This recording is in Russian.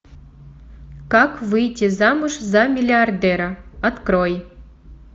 как выйти замуж за миллиардера открой